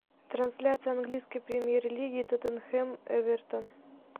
трансляция английской премьер лиги тоттенхэм эвертон